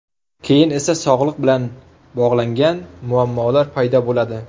Keyin esa sog‘liq bilan bog‘langan muammolar paydo bo‘ladi.